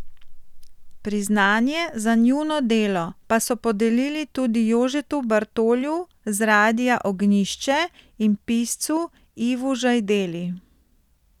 Priznanje za njuno delo pa so podelili tudi Jožetu Bartolju z Radia Ognjišče in piscu Ivu Žajdeli.